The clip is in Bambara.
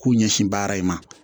K'u ɲɛsin baara in ma